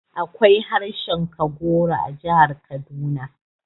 Akwai harshen Kagoro a jihar Kaduna